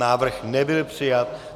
Návrh nebyl přijat.